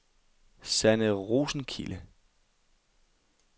Sanne Rosenkilde